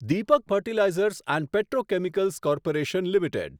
Deepak fertilizers and petrochemicals corporation limited